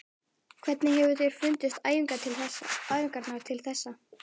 Hvernig hefur þér fundist æfingarnar til þessa?